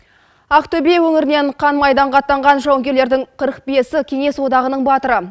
ақтөбе өңірінен қан майданға аттанған жауынгерлердің қырық бесі кеңес одағының батыры